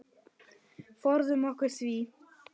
Forðum okkur því.